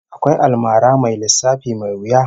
Akwai almara mai lissafi mai wuya